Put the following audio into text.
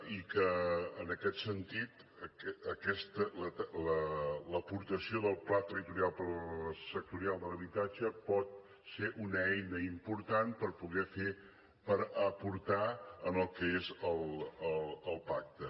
i que en aquest sentit l’aportació del pla territorial sectorial de l’habitatge pot ser una eina important per poder aportar al que és el pacte